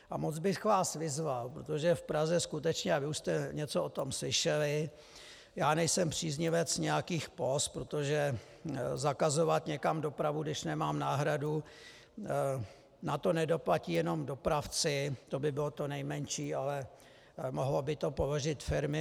A moc bych vás vyzval, protože v Praze skutečně, a vy už jste něco o tom slyšeli, já nejsem příznivec nějakých póz, protože zakazovat někam dopravu, když nemám náhradu, na to nedoplatí jenom dopravci, to by bylo to nejmenší, ale mohlo by to položit firmy.